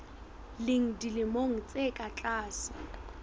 leng dilemo tse ka tlase